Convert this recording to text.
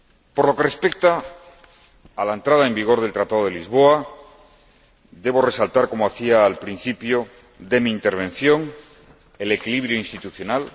Por lo que respecta a la entrada en vigor del Tratado de Lisboa, debo resaltar, como hacía al principio de mi intervención, el equilibrio institucional.